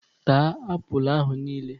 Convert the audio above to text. Tachaa apụl ahụ niile!